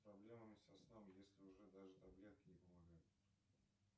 проблемами со сном если уже даже таблетки не помогают